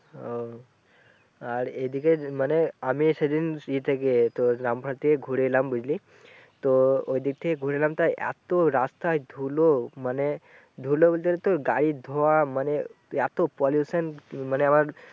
আর এদিকে মানে আমি সেদিন ই থেকে তোর লামভার থেকে ঘুরে এলাম বুঝলি তো ওদিক থেকে ঘুরে এলাম তা এত রাস্তায় ধুলো মানে ধুলো বলতে গাড়ী ধোয়া মানে এত মানে আমার